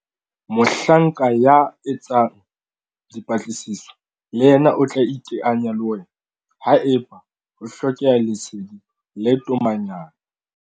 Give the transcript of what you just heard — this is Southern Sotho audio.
Mohlanka ya etsang dipatlisiso le yena o tla iteanya le wena haeba ho hlokeha lesedi le tomanyana.